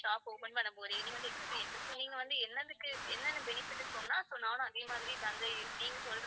shop open பண்ணப்போறேன், நீங்க வந்து என்னத்துக்கு என்னென்ன benefit ன்னு சொன்னா, so நானும் அதே மாதிரி